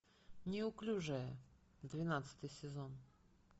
неуклюжая двенадцатый сезон